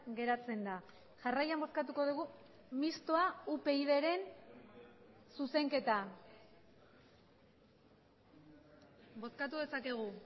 geratzen da jarraian bozkatuko dugu mistoa upydren zuzenketa bozkatu dezakegu